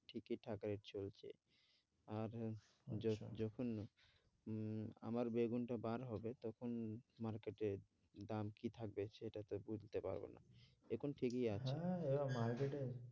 ঠিকইথাকই চলছে আর যখন উম আমার বেগুনটা বার হবে তখন market এ দাম কি থাকবে সেটা তো বুঝতে পারবো না এখন ঠিকই আছে, হ্যাঁ এবার market এ